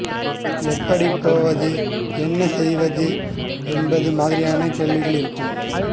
எப்படி போவது என்ன செய்வது என்பது மாதிரியான கேள்விகள் இருக்கும்